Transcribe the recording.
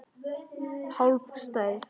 Hálf stærð.